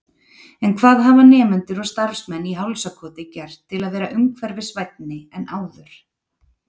En hvað hafa nemendur og starfsmenn í Hálsakoti gert til að vera umhverfisvænni en áður?